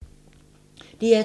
DR2